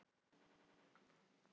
Vitnar um veika forystu